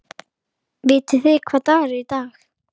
Vitið þið hvaða dagur er í dag?